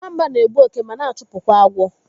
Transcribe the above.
Nwamba na-egbu òké ma na-chụpụ kwa agwọ.